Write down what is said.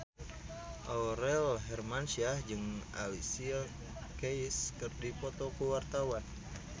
Aurel Hermansyah jeung Alicia Keys keur dipoto ku wartawan